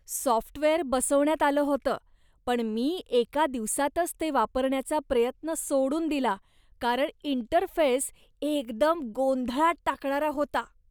Software बसवण्यात आलं होतं पण मी एका दिवसातंच ते वापरण्याचा प्रयत्न सोडून दिला कारण इंटरफेस एकदम गोंधळात टाकणारा होता.